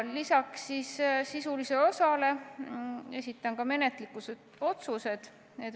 Lisaks sisulisele osale esitan ka menetluslikud otsused.